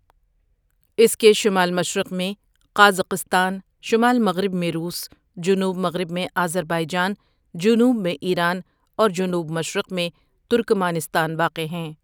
اس کے شمال مشرق میں قازقستان، شمال مغرب میں روس، جنوب مغرب میں آذربائیجان، جنوب میں ایران اور جنوب مشرق میں ترکمانستان واقع ہیں۔